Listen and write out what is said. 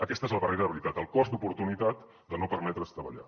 aquesta és la barrera de veritat el cost d’oportunitat de no permetre’s treballar